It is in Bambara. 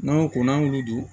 N'an ko ko n'an y'olu dun